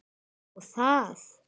Ó, það.